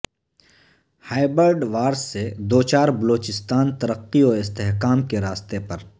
hybrid war سے دوچار بلوچستان ترقی و استحکام کے راستے پر